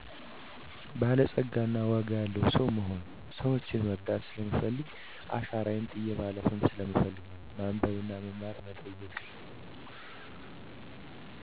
በላፀጋ እና ዋጋ ያለዉ ሰዉ መሆን። ሰወችን መረዳት ሰለምፈልግና አሻራየን ጥየ ማለፍም ስለምፈልግ ነው። ማንበብ; መማርና መጠየቅ